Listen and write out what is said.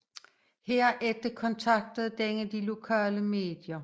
Herefter kontaktede denne de lokale medier